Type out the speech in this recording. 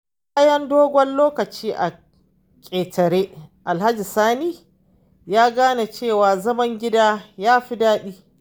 Bayan dogon lokaci a ƙetare, Alhaji Sani ya gane cewa zaman gida ya fi daɗi.